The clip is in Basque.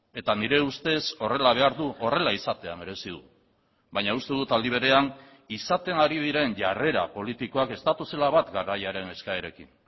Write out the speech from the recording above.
eta nire ustez horrela behar du horrela izatea merezi du baina uste dut aldi berean izaten ari diren jarrera politikoak ez datozela bat garaiaren eskaerekin